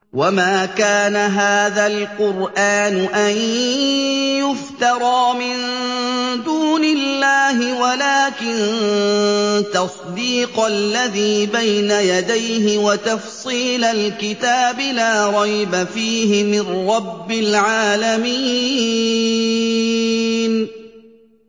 وَمَا كَانَ هَٰذَا الْقُرْآنُ أَن يُفْتَرَىٰ مِن دُونِ اللَّهِ وَلَٰكِن تَصْدِيقَ الَّذِي بَيْنَ يَدَيْهِ وَتَفْصِيلَ الْكِتَابِ لَا رَيْبَ فِيهِ مِن رَّبِّ الْعَالَمِينَ